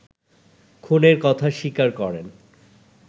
খুনের কথা স্বীকার করেন